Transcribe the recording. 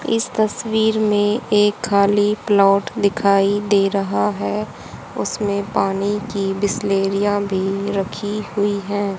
इस तस्वीर में एक खाली प्लॉट दिखाई दे रहा है उसमें पानी की बिसलेरिया भी रखी हुई है।